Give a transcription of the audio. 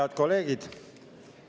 Head kolleegid!